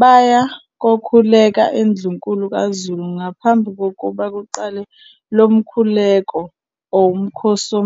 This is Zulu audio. baya kokhuleka eNdlunkulu kaZulu ngaphambi kokuba kuqale lo mkhuleko, umkhosi.